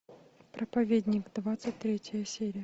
проповедник двадцать третья серия